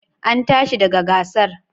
An tashi daga gasar?